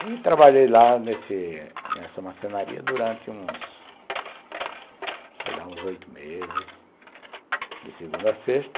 Aí trabalhei lá nesse nessa marcenaria durante uns, sei lá, uns oito meses, de segunda a sexta.